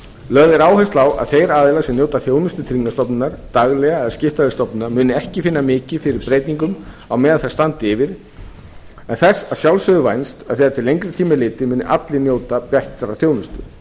lögð er áhersla á að þeir aðilar sem njóta þjónustu tryggingastofnunar daglega að skipta við stofnunina muni ekki finna mikið fyrir breytingum á meðan þær standa yfir en þess að sjálfsögðu vænst að þegar til lengri tíma er litið muni allir njóta bestrar þjónustu